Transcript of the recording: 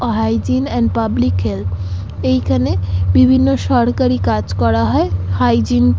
O hygiene and public health এইখানে বিভিন্ন সরকারি কাজ করা হয় হাইজিন ।